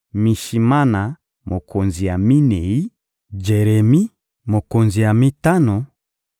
Mishimana, mokonzi ya minei; Jeremi, mokonzi ya mitano;